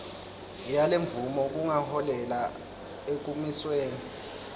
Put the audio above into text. yalemvumo kungaholela ekumisweni